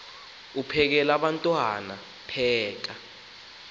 uphekel abantwana pheka